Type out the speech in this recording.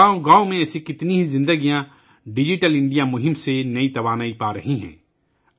گاؤں گاؤں میں ایسی کتنی زندگیوں کو ڈیجیٹل انڈیا مہم سے نئی طاقت مل رہی ہے